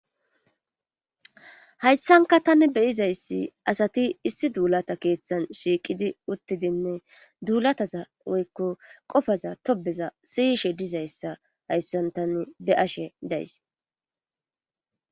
hayssanka tani beyizayssi asati issi duulata keeththan shiiqidi uttidinne duulataza woykko qofaza tobeza siyishe dizayssa hayssan tane be ashe days